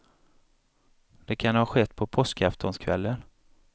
Det kan ha skett på påskaftonskvällen.